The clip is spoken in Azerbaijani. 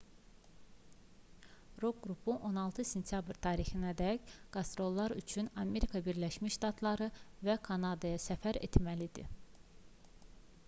rok qrupu 16 sentyabr tarixinədək qastrollar üçün amerika birləşmiş ştatları və kanadaya səfər etməli idi